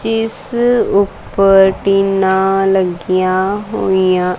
ਇਸ ਉੱਪਰ ਟੀਨਾ ਲੱਗੀਆਂ ਹੋਈਆਂ--